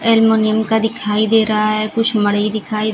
aluminium का दिखाई दे रहा है कुछ मड़ई दिखाई--